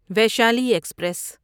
Vaishali express